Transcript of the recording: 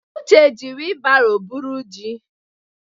Uche jí wilbaro buru jì.